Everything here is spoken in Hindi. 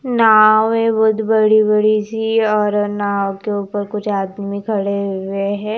नाव है बहुत बड़ी-बड़ी सी और नाव के ऊपर कुछ आदमी खड़े हुए हैं।